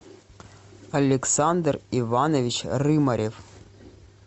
александр иванович рымарев